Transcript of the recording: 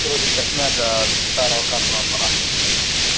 короче это шняга от старого кассового аппарата если что